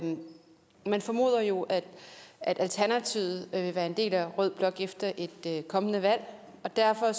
man formoder jo at alternativet vil være en del af rød blok efter et kommende valg derfor